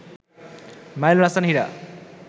Mainul Hasan Hira